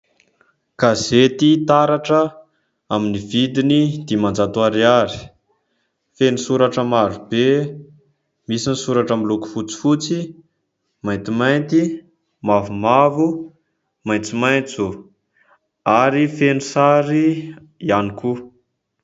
Gazety Taratra amin'ny vidiny dimanjato ariary, feno soratra maro be ; misy ny soratra miloko fotsifotsy, maintimainty, mavomavo, maitsomaitso ary feno sary ihany koa.